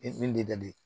E min dalen don